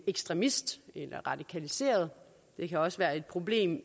ekstremist eller radikaliseret det kan også være et problem